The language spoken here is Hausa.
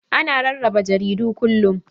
Ana rarraba jaridu kullum.